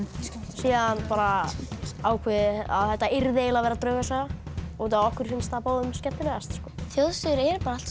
síðan var ákveðið að þetta yrði að vera draugasaga okkur finnst það báðum skemmtilegast þjóðsögur eru alltaf